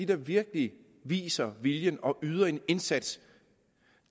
der virkelig viser viljen og yder en indsats